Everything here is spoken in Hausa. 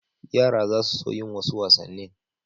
Yara za su so yin wasu wasannin.